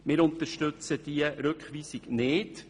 Wir unterstützen diesen nicht.